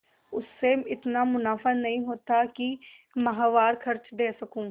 उससे इतना मुनाफा नहीं होता है कि माहवार खर्च दे सकूँ